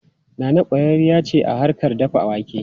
Nana kwararriya ce a harkar dafa wake.